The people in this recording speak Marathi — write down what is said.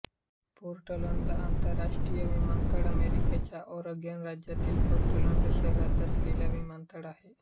पोर्टलंड आंतरराष्ट्रीय विमानतळ अमेरिकेच्या ऑरेगॉन राज्यातील पोर्टलंड शहरात असलेला विमानतळ आहे